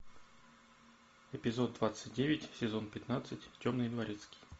эпизод двадцать девять сезон пятнадцать темный дворецкий